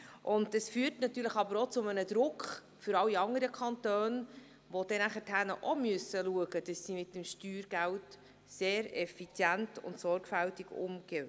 Dies führt natürlich auch zu einem Druck auf alle anderen Kantone, die nachher auch schauen müssen, dass sie mit dem Steuergeld sehr effizient und sorgfältig umgehen.